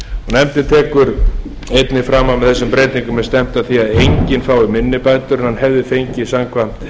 nefndin tekur einnig fram að með þessum breytingum er stefnt að því að enginn fái minni bætur en hann hefði fengið samkvæmt